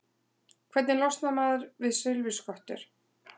Hvernig losnar maður við silfurskottur?